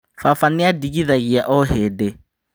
Baba nĩandigithagia o hĩndĩ